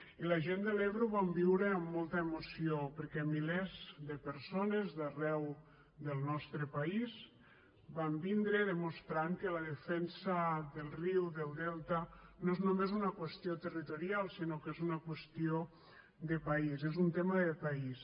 i la gent de l’ebre ho vam viure amb molta emoció perquè milers de persones d’arreu del nostre país van vindre i van demostrar que la defensa del riu del delta no és només una qüestió territorial sinó que és una qüestió de país és un tema de país